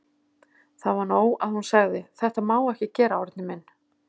Það var nóg að hún segði: Þetta má ekki gera, Árni minn.